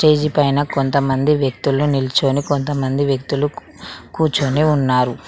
Stage పైన కొంతమంది వ్యక్తులు నిల్చొని కొంతమంది వ్యక్తులు కూర్చొని ఉన్నారు.